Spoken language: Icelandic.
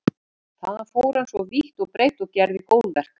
Þaðan fór hann svo vítt og breitt og gerði góðverk.